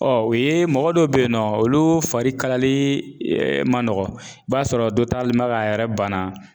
Ɔn o ye mɔgɔ dɔw be yen nɔ , olu fari kalali man nɔgɔn. I b'a sɔrɔ dɔ talen bɛ ka yɛrɛ banna.